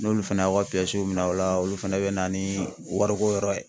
N'olu fɛnɛ y'aw ka minɛn aw la olu fɛnɛ bɛ na ni wariko yɔrɔ ye.